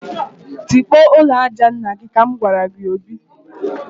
Tikpọọ ụlọ aja nna gị!, ka m gwara Obi